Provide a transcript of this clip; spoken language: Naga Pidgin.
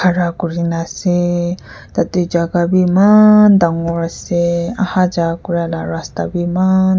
khara kuri na ase tah teh jaga bhi eman dangor ase aha ja kura lah rasta bhi maan--